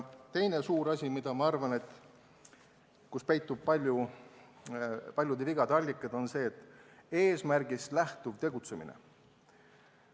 Teine suur asi, kus minu arvates peituvad paljude vigade allikad, on see, mis on seotud eesmärgist lähtuva tegutsemisega.